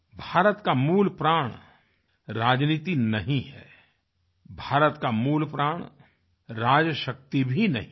भारत का मूलप्राण राजनीति नहीं है भारत का मूलप्राण राजशक्ति भी नहीं है